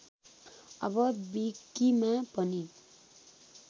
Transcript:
अब विकीमा पनि